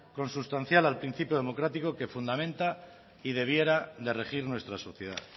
consustancial al principio democrático que fundamenta y debiera de regir nuestra sociedad